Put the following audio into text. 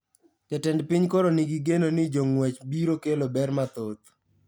Jatend piny koro ni gi geno ni jongwech biro kelo ber mathoth